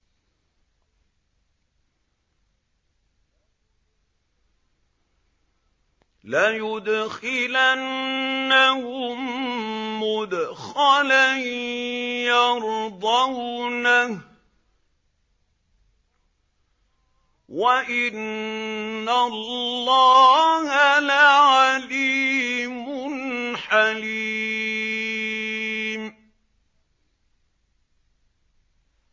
لَيُدْخِلَنَّهُم مُّدْخَلًا يَرْضَوْنَهُ ۗ وَإِنَّ اللَّهَ لَعَلِيمٌ حَلِيمٌ